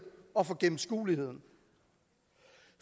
og for gennemskueligheden